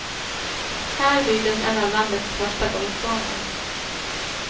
Här byggdes en av landets första golfbanor.